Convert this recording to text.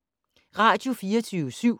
Radio24syv